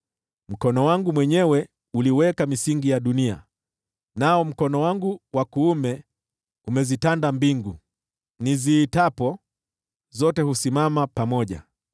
Mkono wangu mwenyewe uliweka misingi ya dunia, nao mkono wangu wa kuume umezitanda mbingu; niziitapo, zote husimama pamoja.